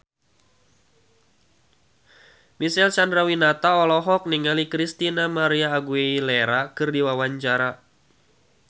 Marcel Chandrawinata olohok ningali Christina María Aguilera keur diwawancara